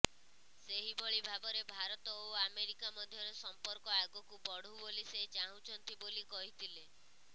ସେହିଭଳି ଭାବରେ ଭାରତ ଓ ଆମେରିକା ମଧ୍ୟରେ ସମ୍ପର୍କ ଆଗକୁ ବଢ଼ୁ ବୋଲି ସେ ଚାହୁଁଛନ୍ତି ବୋଲି କହିଥିଲେ